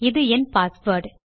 இது என் பாஸ்வேர்ட்